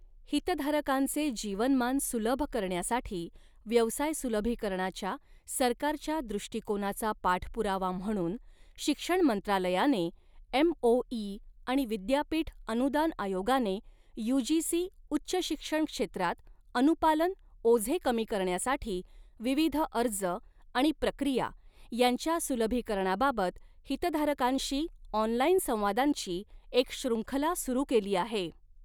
हितधारकांचे जीवनमान सुलभ करण्यासाठी व्यवसाय सुलभीकरणाच्या सरकारच्या दृष्टिकोनाचा पाठपुरावा म्हणून शिक्षण मंत्रालयाने एमओई आणि विद्यापीठ अनुदान आयोगाने यूजीसी उच्च शिक्षण क्षेत्रात अनुपालन ओझे कमी करण्यासाठी विविध अर्ज आणि प्रक्रिया यांच्या सुलभीकरणाबाबत हितधारकांशी ऑनलाईन संवादांची एक श्रृंखला सुरू केली आहे.